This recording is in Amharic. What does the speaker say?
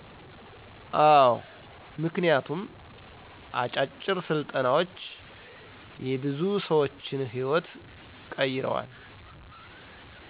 አዎ ምክንያቱም አጫጭር ስልጠናዎች የብዙ ሰዎችን ህይዎት ቀይረዋል።